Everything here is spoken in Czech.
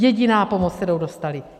Jediná pomoc, kterou dostali.